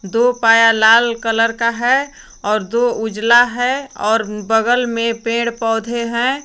दो पाया लाल कलर का है और दो उजला है और बगल में पेड़ पौधे हैं।